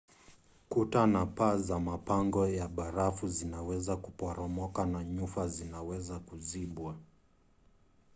kuta na paa za mapango ya barafu zinaweza kuporomoka na nyufa zinaweza kuzibwa